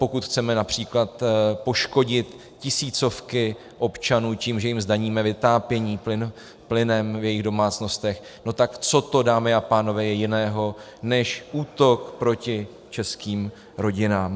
Pokud chceme například poškodit tisícovky občanů tím, že jim zdaníme vytápění plynem v jejich domácnostech, no tak co to, dámy a pánové, je jiného než útok proti českým rodinám.